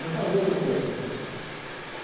Já falei a você aqui.